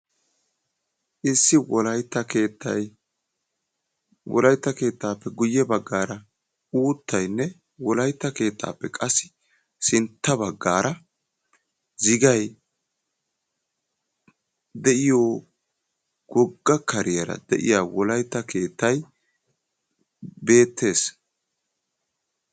Issi Wolaytta keettay, Wolaytta keettape guyyee baggaara uuttaynne Wolayttappe keettappe qassi sintta baggaara zigay de'iyo wogga kariyaara de'iya wolaytta keettay beettees.